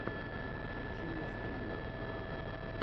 включи мне стримы